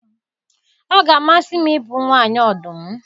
Ọ ga-amasị m ịbụ nwanyị ọdụm